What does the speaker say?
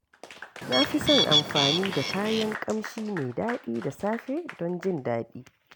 Na fi son amfani da kayan ƙamshi mai daɗi da safe don jin daɗi.